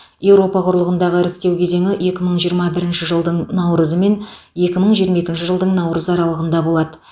еуропа құрлығындағы іріктеу кезеңі екі мың жиырма бірінші жылдың наурызы мен екі мың жиырма екінші жылдың наурызы аралығында болады